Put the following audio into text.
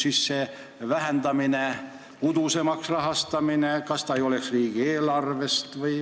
Kas see vähendamine muudaks riigieelarvest rahastamise udusemaks?